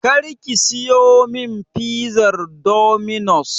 Kar ki siyo min fizar Dominos!